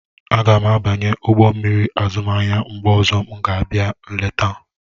Aga m abanye ụgbọ mmiri azụmahịa mgbe ọzọ m ga-abịa nleta.